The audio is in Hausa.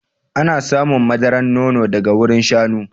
Ana samun madaran nono daga wurin shanu.